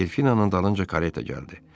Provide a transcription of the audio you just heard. Delfinanın dalınca kareta gəldi.